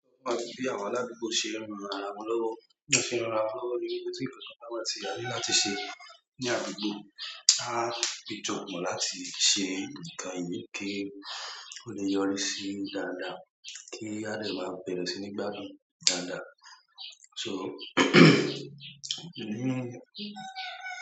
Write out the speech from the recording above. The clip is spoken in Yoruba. Bí àwọn aládùúgbò ṣe ń ran ara wọn lọ́wọ́, bí wọ́n ṣe ń ran ara wọn lọ́wọ́ ni wípé ti ǹkan ka. Báwa tí a ní láti ṣe ní agbègbè, á di jọ́pọ̀ láti ṣe nǹkan yìí kí ó lè yọrí sí dáadáa kí a lè máa bẹ̀rẹ̀ sí ní gbádùn dáadáa. So.